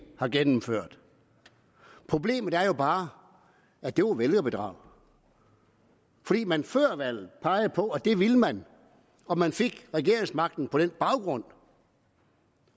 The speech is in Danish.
har gennemført problemet er jo bare at det var vælgerbedrag fordi man før valget pegede på at det ville man og man fik regeringsmagten på den baggrund